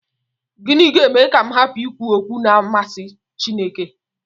Gịnị ga-eme ka m hapụ ikwu okwu na-amasị Chineke?